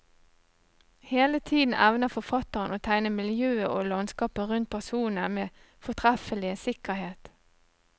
Hele tiden evner forfatteren å tegne miljøet og landskapet rundt personene med fortreffelig sikkerhet.